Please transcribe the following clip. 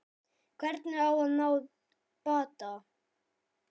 Hvernig á að ná bata?